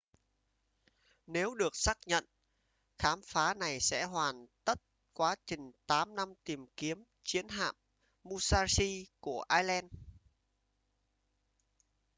nếu được xác nhận khám phá này sẽ hoàn tất quá trình 8 năm tìm kiếm chiến hạm musashi của allen